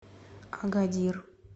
агадир